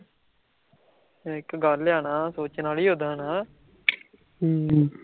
ਇਕ ਗੱਲ ਲਿਆਣਾ, ਸੋਚਣਾ ਵੀ ਉੱਦਾ ਨਾ